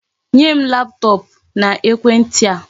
Nye m laptop na ekwenti a!